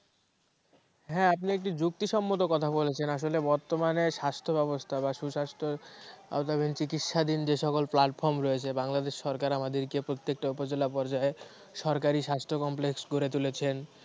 হ্যাঁ, আপনি একটি যুক্তিসম্মত কথা বলেছেন, আসলে বর্তমানে স্বাস্থ্য ব্যবস্থা বা সুস্বাস্থ্য চিকিৎসাধীন যে সকল platform রয়েছে বাংলাদেশ সরকার আমাদেরকে প্রত্যেকটা উপজেলা পর্যায়ে সরকারী স্বাস্থ্য complex গড়ে তুলেছেন